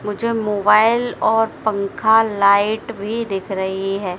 मुझे मोबाइल और पंखा लाइट भी दिख रही है।